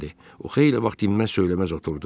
O xeyli vaxt dinməz söyləməz oturdu.